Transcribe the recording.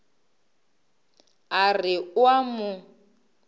a re o a mo